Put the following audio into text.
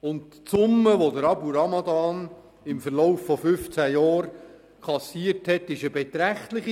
Die Summe, die Abu Ramadan im Verlauf von 15 Jahren kassiert hat, ist eine beträchtliche.